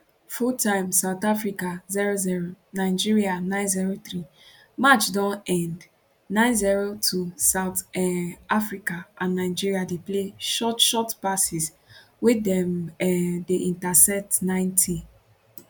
full time south africa 00 nigeria 903 match don end 902 south um africa and nigeria dey play short short passes wey dem um dey intercept 90